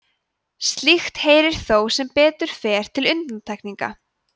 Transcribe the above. slíkt heyrir þó sem betur fer til undantekninga